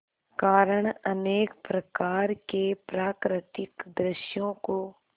कारण अनेक प्रकार के प्राकृतिक दृश्यों को